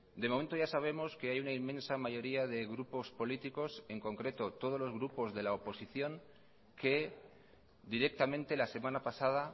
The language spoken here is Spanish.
de momento ya sabemos que hay una inmensa mayoría de grupos políticos en concreto todos los grupos de la oposición que directamente lasemana pasada